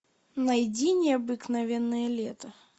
найди необыкновенное лето